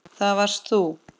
Það varst þú.